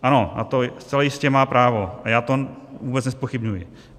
Ano, na to zcela jistě má právo a já to vůbec nezpochybňuji.